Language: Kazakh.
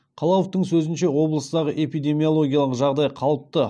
қалауовтың сөзінше облыстағы эпидемиологиялық жағдай қалыпты